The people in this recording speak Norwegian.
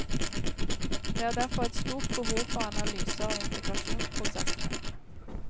Det er derfor et stort behov for analyser av integrasjonsprosessene.